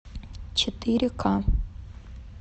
четыре ка